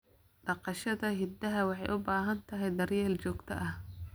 Dhaqashada idaha waxay u baahan tahay daryeel joogto ah.